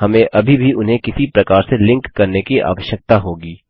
हमें अभी भी उन्हें किसी प्रकार से लिंक करने की आवश्यकता होगी